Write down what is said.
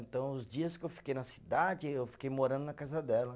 Então, os dias que eu fiquei na cidade, eu fiquei morando na casa dela.